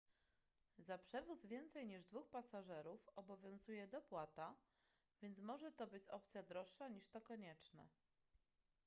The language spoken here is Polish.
za przewóz więcej niż 2 pasażerów obowiązuje dopłata więc może to być opcja droższa niż to konieczne